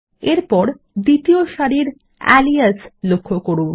এরপর দ্বিতীয় সারির আলিয়াস লক্ষ্য যান